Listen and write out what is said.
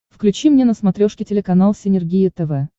включи мне на смотрешке телеканал синергия тв